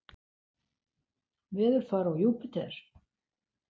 Veðurfar á Júpíter